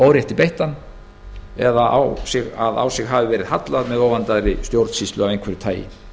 órétti beittan eða á sig hallað með óvandaðri stjórnsýslu af einhverju tagi